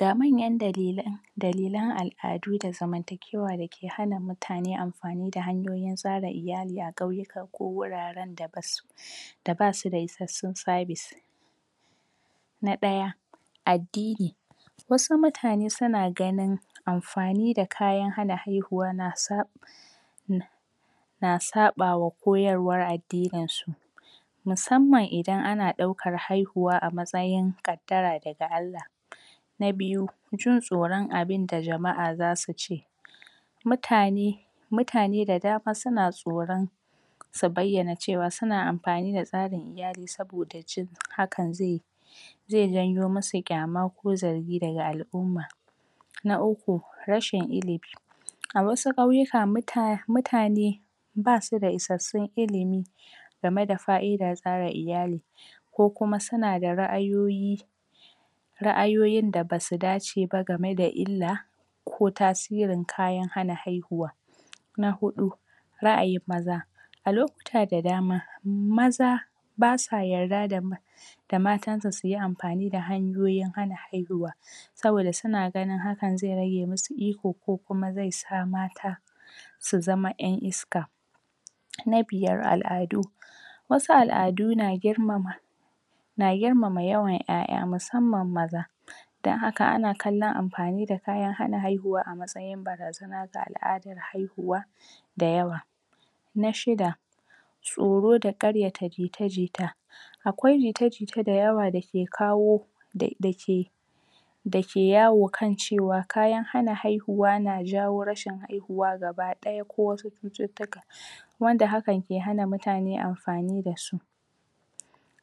Ga manyan dalilan al'adu da zamantakewa dake hana mutane amfani hanyoyin tsara iyali a ƙauyuka ko wuraren da basu da basu da isassun service. Na ɗaya: Addini, wqasu mutane suna ganin amfqani da kayan hana haihuwa na sa _ na saɓawa koyarwar addininsu musamman idan ana ɗaukan haihuwa a matsayin ƙaddara daga Allah. Na biyu: Jin Tsoron abinda jama'a za su ce. Mutane mutane da dama suna tsoron su bayyane cewa suna amfani da tsarin iyali saboda jin hakan zai zai janyo musu kyama ko zargi daga al'umma. Na uku: Rashin ilimi, a wasu ƙauyuka mutane basu da isassun ilimi game da faidar tsara iyali, ko kuma suna da ra'ayoyi ra'ayoyin da basu dace ba saboda illa ko tasirin kayan hana haihuwa. Na huɗu: Ra'ayin maza. A lokuta da dama maza basa yadda da matansu suyi amfani da hanyoyin hana haihuwa. saboda suna gani hakan zai nrage musu iko ko kiuma zai sa mata su zama 'yan iska. Na biyar: Al'adu. wasu al'adu na girmama na girmama yawan 'ya'ya musamman maza, don haka ana kallon amfani da kayan hana haihuwa a matsayin a matsayin barazana ga al'adar haihuwa da yawa. Na shifda: Tsoro nda gayyata jita-jita. Akwai jita-jita da yawa dake kawo da dake dake yawo kan cewa kayan hana haihuwa ja jawo rashin haihuwa gaba ɗaya ko wasu cututtuka wanda hakan ke hana amfani da su.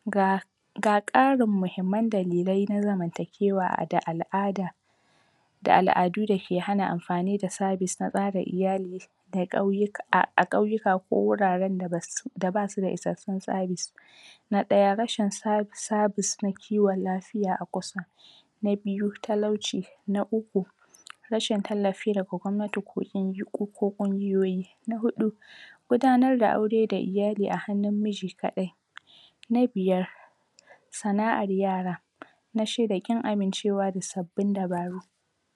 Ga ga ƙarin muhimman dalilai na zamantakewa da al'ada, da al'adu dake hana amfani da service na tsara iyali a ƙauyuka ko wuraren da basu da issasun tsari. Na ɗaya rashin service na tsarin lafiya a kusa Na biyu, talauci, na uku rashin tallafi daga gwammanti ko ungiyoyi. Na huɗu: Gudanar da aure da iyali a hannun miji kalai. Na biyar: Sana'ar yara, Na Shida, ƙin amincewa da sabbin dabaru.